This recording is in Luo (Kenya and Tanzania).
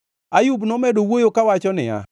Ayub nomedo wuoyo kawacho niya,